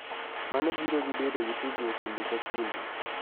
Mano biro gi bedo gi tudruok kinde ka kinde.